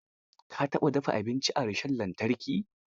Ka taɓa dafa abinci a rishon lantarki?